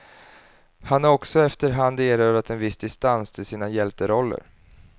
Han har också efter hand erövrat en viss distans till sina hjälteroller.